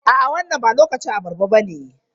A'a wannan ba lokacin abarba bane.